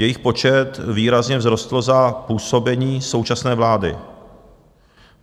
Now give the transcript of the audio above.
Jejich počet výrazně vzrostl za působení současné vlády.